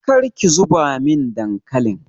Kar ki zuba min dankalin!